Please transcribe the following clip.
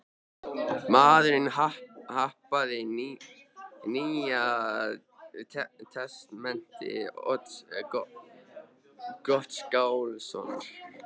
Maðurinn hampaði Nýja testamenti Odds Gottskálkssonar.